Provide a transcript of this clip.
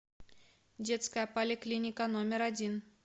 детская поликлиника номер один